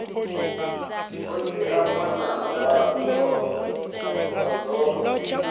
khotsi a ṅwana wa dzofha